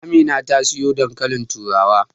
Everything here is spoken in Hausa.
Amina ta soya dankalin turawa.